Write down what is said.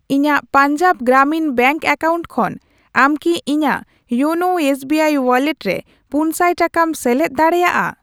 ᱤᱧᱟ.ᱜ Punjab Gramin bank account ᱠᱷᱚᱱ ᱟᱢ ᱠᱤ ᱤᱧᱟᱜ ᱭᱳᱱᱳ ᱮᱥᱵᱤᱟᱭ ᱣᱟᱞᱞᱮᱴ ᱨᱮ ᱯᱩᱱᱥᱟᱭ ᱴᱟᱠᱟᱢ ᱥᱮᱞᱮᱫ ᱫᱟᱲᱮᱭᱟᱜᱼᱟ ?